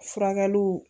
Furakɛliw